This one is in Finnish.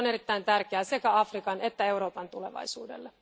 Se on erittäin tärkeää sekä Afrikan että Euroopan tulevaisuudelle.